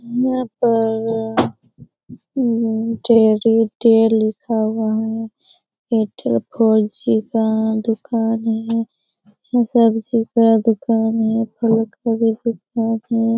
यहाँ पर teddy day लिखा हुआ है का दुकान है यहाँ सबसे बड़ा दुकान है फलों का भी दुकान है ।